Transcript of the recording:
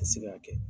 Tɛ se k'a kɛ